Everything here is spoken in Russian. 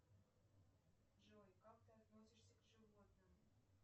джой как ты относишься к животным